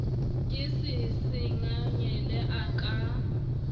ke se sengangele a ka